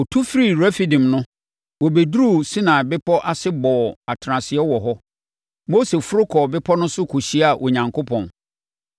Wɔtu firii Refidim no, wɔbɛduruu Sinai Bepɔ ase bɔɔ atenaseɛ wɔ hɔ. Mose foro kɔɔ bepɔ no so kɔhyiaa Onyankopɔn.